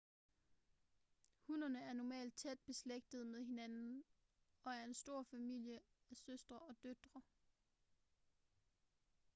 hunnerne er normalt tæt beslægtede med hinanden og er en stor familie af søstre og døtre